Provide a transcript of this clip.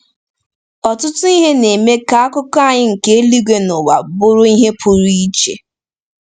Ọtụtụ ihe na-eme ka akụkụ anyị nke eluigwe na ụwa bụrụ ihe pụrụ iche.